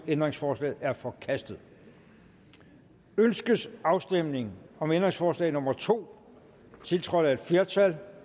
ændringsforslaget er forkastet ønskes afstemning om ændringsforslag nummer to tiltrådt af et flertal